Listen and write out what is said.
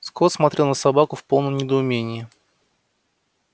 скотт смотрел на собаку в полном недоумении